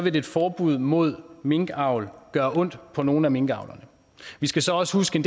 et forbud mod minkavl gøre ondt på nogle af minkavlerne vi skal så også huske